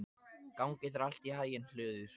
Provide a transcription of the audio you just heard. Gangi þér allt í haginn, Hlöður.